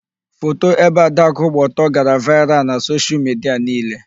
Foto ebe Adakụ gbaa ọtọ gara vaịral na soshial midia niile.